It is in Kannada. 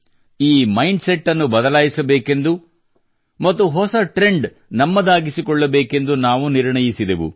ಈ ಮನೋಭಾವವನ್ನು ಬದಲಾಯಿಸಬೇಕೆಂದು ಮತ್ತು ಹೊಸ ಟ್ರೆಂಡ್ ನಮ್ಮದಾಗಿಸಿಕೊಳ್ಳಬೇಕೆಂದು ನಾವು ನಿರ್ಣಯಿಸಿದೆವು